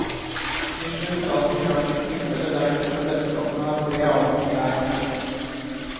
Til slutt, la oss betrakte tilfellet der de to selskapene har tre avganger hver.